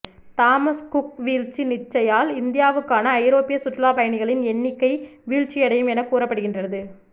Thomas Cook வீழ்ச்சி நிச்சயால் இந்தியாவுக்கான ஐரோப்பிய சுற்றுலாப் பயணிகளின் எண்ணிக்கை வீழ்ச்சியடையும் எனக் கூறப்படுகின்றது